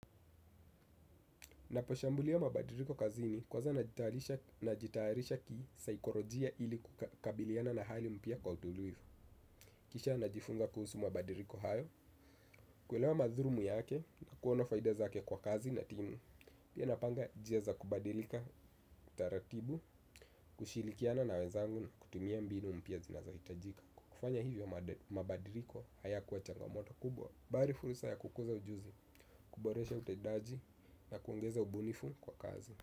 Ninaposhambulia mabadiliko kazini kwanza najitayarisha kisaikolojia ili kukabiliana na hali mpya kwa utulivu. Kisha najifunza kuhusu mabadiliko hayo, kuelewa madhulumu yake na kuona faida zake kwa kazi na timu. Pia napanga njia za kubadilika utaratibu, kushirikiana na wezangu na kutumia mbinu mpya zinazohitajika. Kwa kufanya hivyo mabadiliko hayakuwa changamoto kubwa, bali fursa ya kukuza ujuzi, kuboresha utendaji na kuongeza ubunifu kwa kazi.